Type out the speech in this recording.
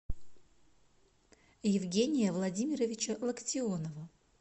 евгения владимировича локтионова